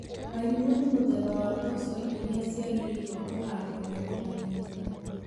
Wairimũ nĩ mũthemba wa mboco irĩa ciagĩrĩirwo kũhandwo mĩgũnda mĩnene.